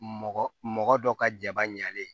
Mɔgɔ mɔgɔ dɔ ka jaba ɲɛlen